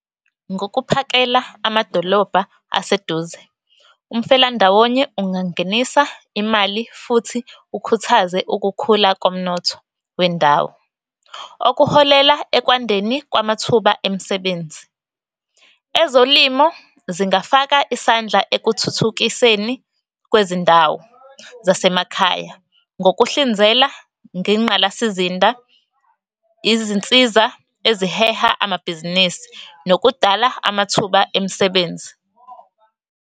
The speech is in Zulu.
Ngokuphakela amadolobha aseduze umfelandawonye ungangenisa imali, futhi ukhuthaze ukukhula komnotho wendawo okuholela ekwandeni kwamathuba emsebenzi. Ezolimo zingafaka isandla ekuthuthukiseni kwezindawo zasemakhaya ngokuhlinzela ngengqalasizinda, izinsiza eziheha amabhizinisi, nokudala amathuba emsebenzi.